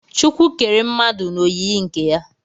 chukwu kere mmadu n'oyiyi nke ya